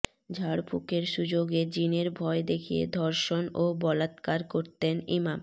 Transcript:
ঝাড়ফুঁকের সুযোগে জিনের ভয় দেখিয়ে ধর্ষণ ও বলাৎকার করতেন ইমাম